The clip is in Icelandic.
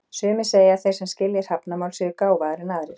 Sumir segja að þeir sem skilji hrafnamál séu gáfaðri en aðrir.